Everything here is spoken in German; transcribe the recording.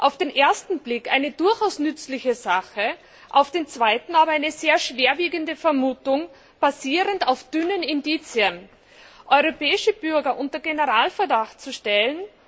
Auf den ersten Blick eine durchaus nützliche Sache, auf den zweiten aber ist es eine sehr schwerwiegende Vermutung, basierend auf dünnen Indizien, europäische Bürger unter Generalverdacht zu stellen.